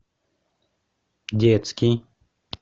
детский